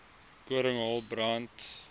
koring hael brand